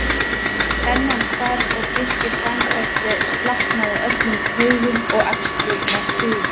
Spennan hvarf og Birkir fann hvernig slaknaði á öllum taugum og axlirnar sigu.